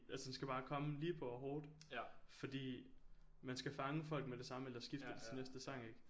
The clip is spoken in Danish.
Altså den skal bare komme lige på og hårdt fordi man skal fange folk med det samme ellers skifter de til næste sang ik